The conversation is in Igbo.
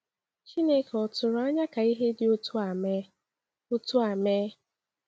Chineke ò tụrụ anya ka ihe dị otú a mee? otú a mee?